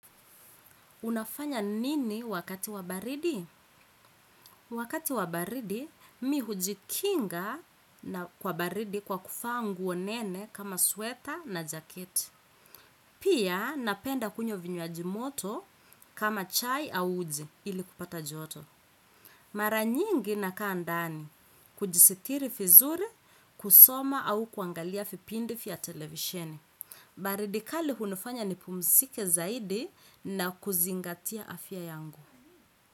Unafanya nini wakati wa baridi? Wakati wa baridi, mi hujikinga na kwa baridi kwa kuvaa nguo nene kama sweta na jaket. Pia, napenda kunywa vinywaji moto kama chai au uji ili kupata joto. Mara nyingi nakaa ndani, kujisitiri vizuri, kusoma au kuangalia vipindi vya televisheni. Baridi kali hunifanya nipumzike zaidi na kuzingatia afya yangu.